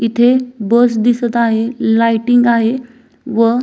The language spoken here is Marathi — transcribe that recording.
इथे बस दिसत आहे लायटिंग आहे व --